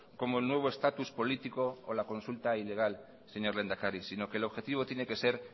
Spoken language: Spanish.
como el nuevo estatus político o la consulta ilegal señor lehendakari sino que el objetivo tiene que ser